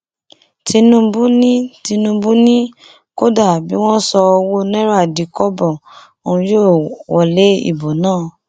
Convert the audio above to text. tinubu ni tinubu ni kódà bí wọn sọ ọwọ náírà di kọbọ òun yóò wọlé ìbò náà